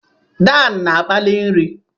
Dan na-akpali nri.